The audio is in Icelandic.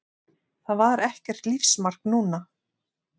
Það var ekkert lífsmark núna.